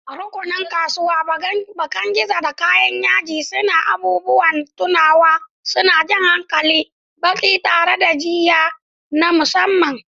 Rukunin kasuwa, bakan gizo na kayan yaji da abubuwan tunawa, suna jan hankalin baƙi tare da jiyya na musamman.